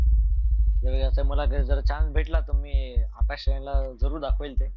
अस जर मला chance भेटला तर आकाश वाणी ला जरूर दाखवीन ते.